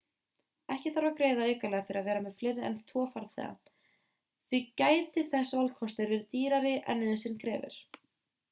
ekki þarf að greiða aukalega fyrir að vera með fleiri en 2 farþega því gæti þessi valkostur verið dýrari en nauðsyn krefur